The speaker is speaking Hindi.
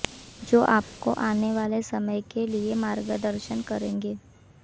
जो आपको आने वाले समय के लिए मार्गदर्शन करेंगे